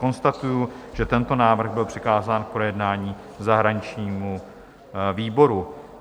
Konstatuji, že tento návrh byl přikázán k projednání zahraničnímu výboru.